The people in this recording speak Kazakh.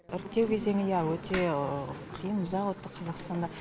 іріктеу кезеңі иә өте қиын ұзақ өтті қазақстанда